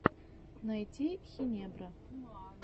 найти хинебро